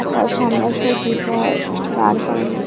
আর তার সামনে একটা গিটার দাঁড় করানো রয়--